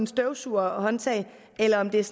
støvsugerhåndtag eller om det er